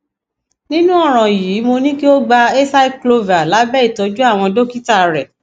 nírú ọràn yìí mo ní kí o gba acyclovir lábẹ ìtọjú àwọn dókítà rẹ